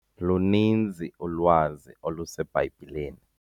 Luninzi ulwazi oluseBhayibhileni.